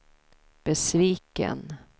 besviken